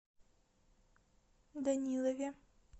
данилове